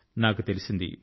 నాకు తెలిసింది